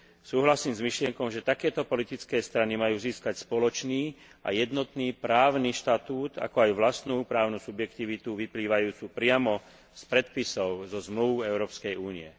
Súhlasím s myšlienkou, že takéto politické strany majú získať spoločný a jednotný právny štatút, ako aj vlastnú právnu subjektivitu vyplývajúcu priamo z predpisov, zo zmlúv Európskej únie.